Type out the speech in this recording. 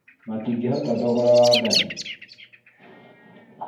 Matingĩhota thogora wa ngathi